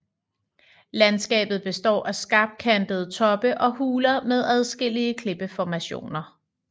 Landskabet består af skarpkantede toppe og huler med adskillige klippeformationer